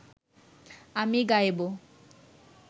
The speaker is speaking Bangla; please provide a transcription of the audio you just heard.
আমি গাইব